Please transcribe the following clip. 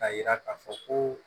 K'a yira k'a fɔ ko